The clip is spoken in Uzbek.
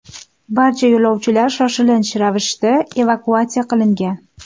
Barcha yo‘lovchilar shoshilinch ravishda evakuatsiya qilingan.